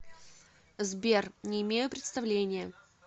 сбер не имею представления